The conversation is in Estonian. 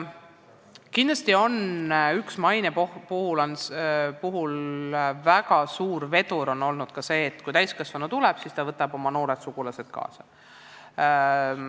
Kindlasti on maine puhul üks väga suur vedur olnud ka see, et kui täiskasvanu tuleb, siis ta võtab oma noored sugulased kaasa.